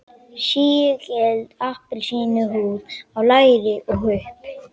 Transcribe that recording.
Sígild appelsínuhúð á læri og hupp.